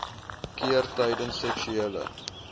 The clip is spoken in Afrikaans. keer tydens seksuele